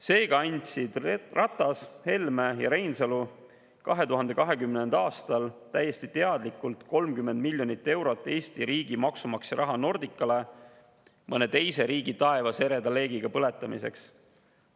Seega andsid Ratas, Helme ja Reinsalu 2020. aastal täiesti teadlikult 30 miljonit eurot Eesti riigi maksumaksja raha Nordicale mõne teise riigi taevas ereda leegiga põletamiseks.